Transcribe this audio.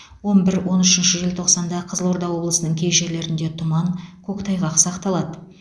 он бір он үшінші желтоқсанда қызылорда облысының кей жерлерінде тұман көктайғақ сақталады